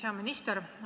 Hea minister!